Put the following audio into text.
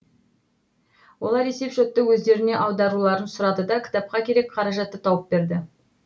олар есепшотты өздеріне аударуларын сұрады да кітапқа керек қаражатты тауып берді